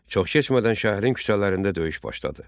Çox keçmədən şəhərin küçələrində döyüş başladı.